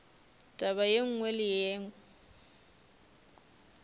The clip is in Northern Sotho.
taba ye nngwe le ye